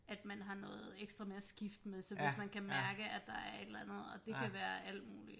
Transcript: At man har noget ekstra med at skifte med så hvis man kan mærke at der er et eller andet og det kan være alt muligt